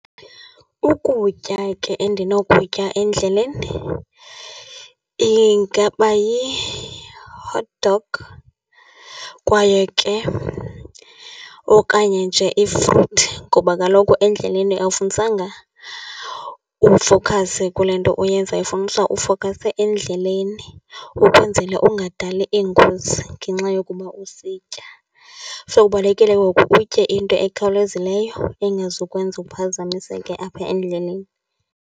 Ukutya ke endinokutya endleleni ingaba yi-hot dog kwaye ke okanye nje ifruthi. Ngoba kaloku endleleni awufunisanga ufokhase kule nto oyenzayo, kufunisa ufokhase endleleni ukwenzele ungadali iingozi ngenxa yokuba usitya. So, kubalulekile ke ngoku utye into ekhawulezileyo engazukwenza uphazamiseke apha endleleni.